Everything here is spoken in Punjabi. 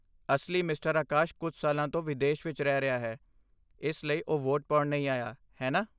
ਅਸਲੀ ਮਿਸਟਰ ਆਕਾਸ਼ ਕੁਝ ਸਾਲਾਂ ਤੋਂ ਵਿਦੇਸ਼ ਵਿਚ ਰਹਿ ਰਿਹਾ ਹੈ, ਇਸ ਲਈ ਉਹ ਵੋਟ ਪਾਉਣ ਨਹੀਂ ਆਇਆ, ਹੈ ਨਾ?